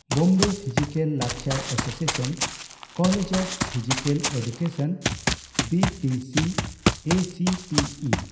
Bombay physical culture association college of physical education ( B P C A C P E )᱾